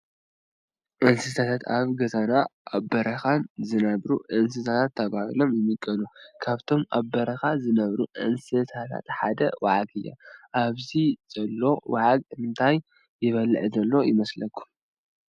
እንስሳታት፡ - ኣብ ገዛን ኣብ በረኻን ዝነብሩ እንስሳታት ተባሂሎም ይምቀሉ፡፡ ካብቶም ኣብ በረኻ ዝነብሩ እንስሳታት ሓንቲ ዋዓግ እዩ፡፡ ኣብዚ ዘሎ ዋዓግ እንታይ ይበልዕ ዘሎ ይመስለኩም?